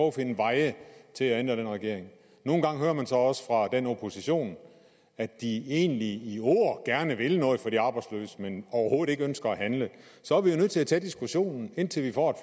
at finde veje til at ændre den regering nogle gange hører man så også fra oppositionen at de egentlig i ord gerne vil noget for de arbejdsløse men overhovedet ikke ønsker at handle og så er vi jo nødt til at tage diskussionen indtil vi får